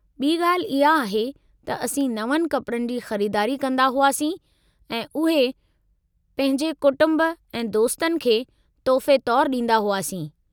ॿी ॻाल्हि इहा आहे त असीं नवनि कपड़नि जी ख़रीदारी कंदा हुआसीं ऐं उहे पंहिंजे कुटुंब ऐं दोस्तनि खे तोहफ़े तौरु ॾींदा हुआसीं।